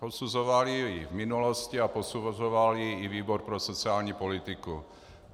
Posuzovali ji v minulosti a posuzoval ji i výbor pro sociální politiku.